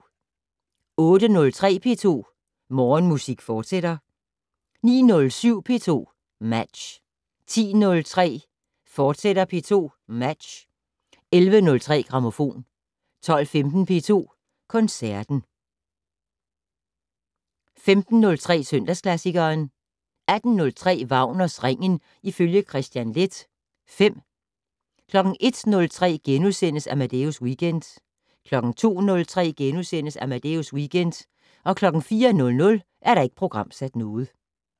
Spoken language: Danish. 08:03: P2 Morgenmusik, fortsat 09:07: P2 Match 10:03: P2 Match, fortsat 11:03: Grammofon 12:15: P2 Koncerten 15:03: Søndagsklassikeren 18:03: Wagners Ringen ifølge Kristian Leth V 01:03: Amadeus Weekend * 02:03: Amadeus Weekend * 04:00: Ikke programsat